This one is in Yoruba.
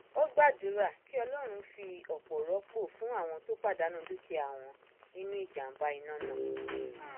ó gbàdúrà kí ọlọrun fi ọpọ rọpò fún àwọn tó pàdánù dúkìá wọn nínú ìjàmbá iná náà